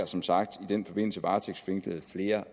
som sagt i den forbindelse varetægtsfængslet flere